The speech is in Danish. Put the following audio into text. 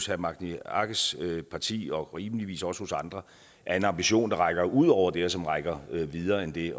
herre magni arges parti og rimeligvis også i andre er en ambition der rækker ud over det og som rækker videre end det